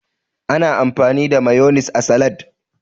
Ana amfani da mayonis a salad.